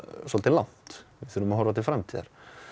svolítið langt við þurfum að horfa til framtíðar